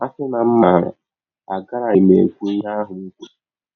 A sị na m maara agaraghị m ekwụ ihe ahụ m kwụrụ!